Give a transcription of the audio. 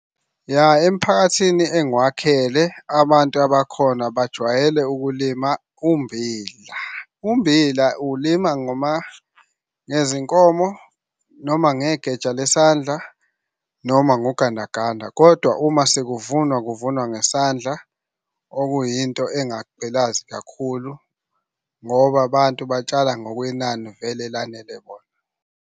Ya, emiphakathini engiwakhele, abantu abakhona bajwayele ukulima ummbila. Ummbila uwulima ngezinkomo noma ngegeja lesandla noma ngogandaganda, kodwa uma sekuvunwa kuvunwa ngesandla, okuyinto engagqilazi kakhulu ngoba abantu batshala ngokwenani vele elanele bona.